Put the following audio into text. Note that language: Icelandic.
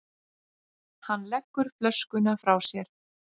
Hann leggur flöskuna frá sér.